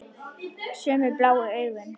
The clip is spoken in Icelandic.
Sömu bláu augun.